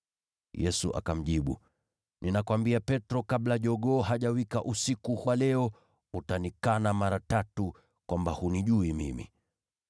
Yesu akamjibu, “Ninakuambia Petro, kabla jogoo hajawika usiku wa leo, utakana mara tatu kwamba hunijui mimi.”